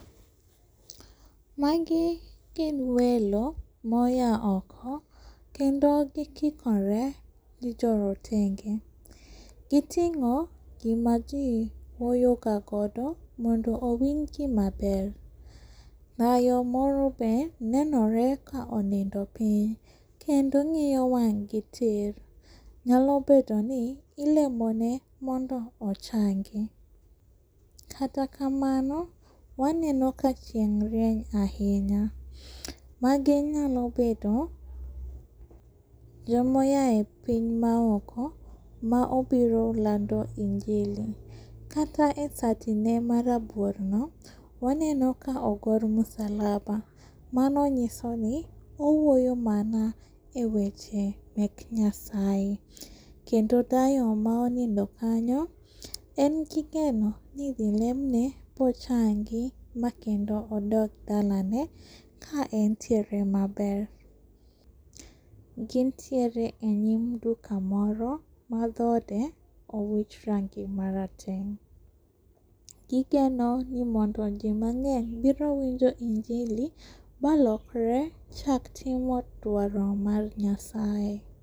Magi gin welo moya oko kendo gi kikore gi jo rotenge. Gi ting'o gima ji wuoyoga godo mondo owinjgi maber. Dayo moro be nenore ka onindo piny kendo ng'iyo wang'gi tir nyalo bedoni ilemone mondo ochangi. Kata kamano waneno ka chieng' rieny ahinya magi nyalo bedo joma oyaye piny maoko ma obiro lando injili. Kata e satine marabuorno waneno ka ogor musalaba. Mano nyisoni owuoyo mana eweche mek Nyasaye. Kendo dayo ma onindo kanyo engi geno ni idhi lemne ma ochangi makendo odog dalane ka entiere maber. Gintiere enyim duka moro ma dhode owich rangi mara teng' gigenoni mondo ji mang'eny biro winjo injili ma lokre chak timo dwaro mar Nyasaye.